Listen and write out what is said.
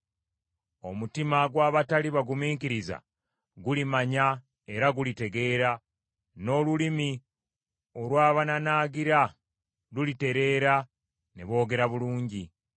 Omutima gw’abatali bagumiikiriza gulimanya era gulitegeera, n’olulimi olw’abanaanaagira lulitereera ne boogera bulungi.